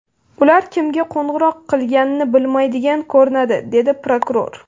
Ular kimga qo‘ng‘iroq qilganini bilmaydigan ko‘rinadi”, dedi prokuror.